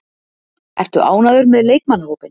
Ertu ánægður með leikmannahópinn?